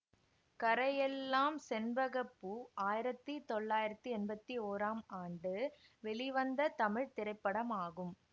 கரையெல்லாம் செண்பக பூ ஆயிரத்தி தொள்ளாயிரத்தி எம்பத்தி ஓராம் ஆண்டு வெளிவந்த தமிழ் திரைப்படமாகும்